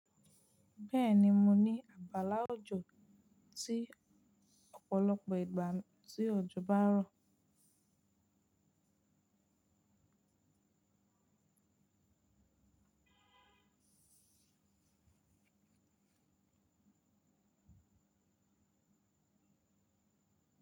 Bẹ́ẹ̀ni, mo ní agbala òjò tí ọ̀pọ̀lọpọ̀ ìgbà tí òjò bá ń rọ̀